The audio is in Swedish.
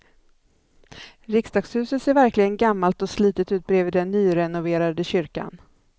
Riksdagshuset ser verkligen gammalt och slitet ut bredvid den nyrenoverade kyrkan.